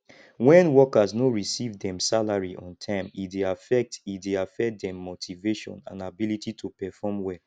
when workers no receive dem salary on time e dey affect e dey affect dem motivation and ability to perform well